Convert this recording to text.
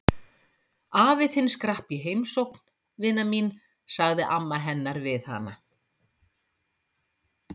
Afi þinn skrapp í heimsókn, vina mín sagði amma hennar við hana.